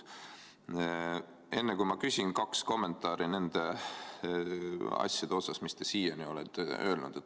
Enne kui ma küsin, kaks kommentaari nende asjade kohta, mis te siiani olete öelnud.